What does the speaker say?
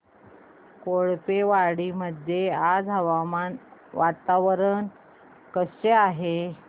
कोळपेवाडी मध्ये आज वातावरण कसे आहे